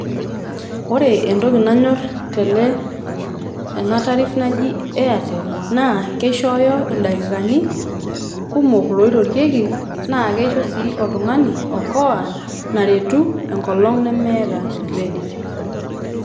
Ore entoki nayor tele tena tariff naji Airtel naa kishooyo ildaikikani kumok loirorieki naa kisho sii oltungani okoa naretu enkolong nemeeta credit.